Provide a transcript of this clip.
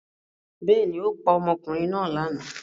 Bẹ́ẹ̀ ni, ó pa ọmọkùnrin náà lára.